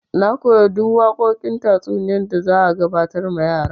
Na koyi duk waƙoƙin tatsuniya da za a gabatar ma yan' yaran.